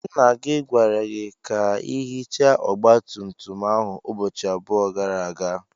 Nna gi gwara gi ka ihicha ogba tum tum ahu ubochi abuo gara aga.